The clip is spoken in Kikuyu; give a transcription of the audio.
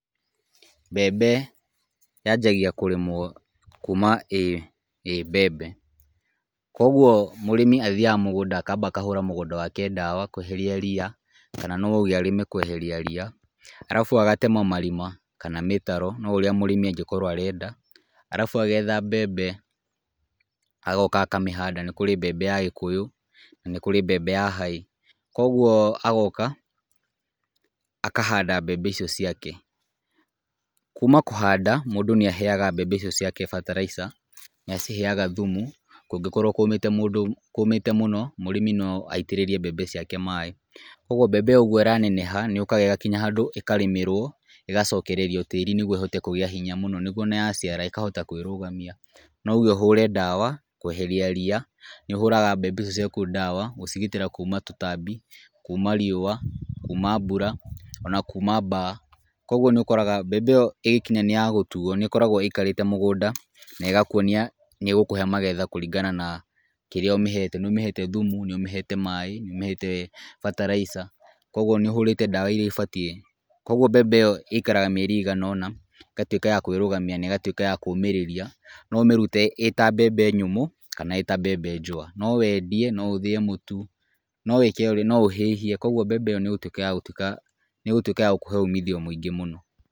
Mbembe yanjagia kũrĩmwo kuma ĩ mbembe , kũgwo mũrĩmi ambaga gũthiĩ mũgũnda akamba akahũra mũgũnda wake ndawa kweheria ria, kana no auge arĩme kweheria ria, arabu agatema marima kana mĩtaro o ũrĩa mũrĩmi angĩkorwo arenda, arabu mũrĩmi agetha mbembe agoka akamĩhanda, nĩkũrĩ mbembe ya gĩkũyũ na nĩkũrĩ mbembe nginya ya haĩ, kũgwo agoka akahanda mbembe icio ciake, kuma kũhanda mũndũ nĩ aheaga mbembe icio ciake bataraica , nĩ aciheaga thumu kũngĩkorwo kũmĩte mũndũ , kũmĩte mũno mũrĩmi no aitĩrĩrie mbembe ciake maaĩ , kũgwo mbembe o ũgwo ĩraneneha nĩ yukaga ĩgakinya handũ ĩkarĩmĩrwo, ĩgacokererio tĩri nĩgwo ĩhote kũgĩa hinya mũno, nĩgwo ona yaciara ĩkahota kwĩrũgamia, no ũge ũhũre ndawa weherie ria, nĩ ũhũraga mbembe icio ciaku ndawa gũcigitĩra kuma tũtambi, kuma riũa, kuma mbura ona kuma baa, kũgwo nĩ ũkoraga mbembe ĩyo ĩgĩkinya nĩ yagũtuo nĩ ĩkoragwo ĩikarĩte mũgũnda na ĩgakwonia nĩ ĩgũkũhe magetha kũringana na kĩrĩa ũmĩhete, nĩ ũmĩhete thumu , nĩ ũmĩhete maaĩ, nĩ ũmĩhete bataraica ,kũgwo nĩ ũhũrĩte ndawa iria ibatiĩ, kũgwo mbembe ĩikaraga mieri ĩiagana nona ĩgatwĩka ya kwĩrũgamia na ĩgatwĩka ya kũmĩrĩria, no ũmĩrute ĩta mbembe nyũmũ kana ĩta mbembe njũa, no wendie no ũthĩe mũtu , no wĩke no ũhĩhie , kũgwo mbembe ĩyo nĩ igũtwĩka ya gũtwĩka, nĩ ĩgũtwĩka ya gũkũhe umithio mũingĩ mũno.